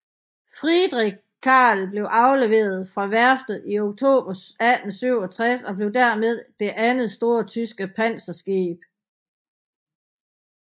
Friedrich Carl blev afleveret fra værftet i oktober 1867 og blev dermed det andet store tyske panserskib